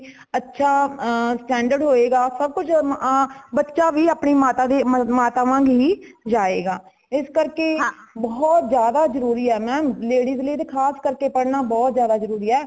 ਅੱਛਾ ਅ standard ਹੋਏਗਾ ,ਸਬ ਕੁਛ ਅ ਬੱਚਾ ਵੀ ਅਪਣੀ ਮਾਤਾ ਮਾਤਾ ਵਾਂਗ ਹੀ ਜਾਏਗਾ। ਇਸ ਕਰਕੇ ਬਹੁਤ ਜ਼ਿਆਦਾ ਜਰੂਰੀ ਹੇ mam ladies ਲੀਏ ਤੇ ਖਾਸ ਕਰਕੇ ਪੜਨਾ ਬਹੁਤ ਜ਼ਿਆਦਾ ਜਰੂਰੀ ਹੇ